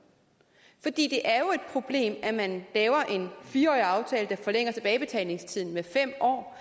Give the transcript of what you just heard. fordi det er jo et problem at man laver en fire årig aftale der forlænger tilbagebetalingstiden med fem år